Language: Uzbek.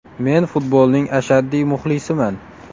Men futbolning ashaddiy muxlisiman.